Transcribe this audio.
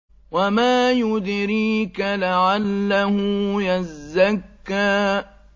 وَمَا يُدْرِيكَ لَعَلَّهُ يَزَّكَّىٰ